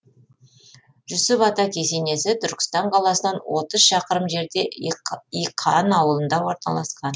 жүсіп ата кесенесі түркістан қаласынан отыз шақырым жерде иқан аулында орналасқан